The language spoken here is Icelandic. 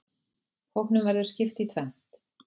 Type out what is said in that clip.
Hópnum verður skipt í tvennt.